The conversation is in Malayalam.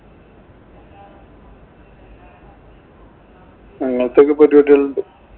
ഞങ്ങള്‍ക്കൊക്കെ ഉണ്ട്.